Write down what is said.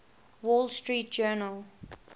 wall street journal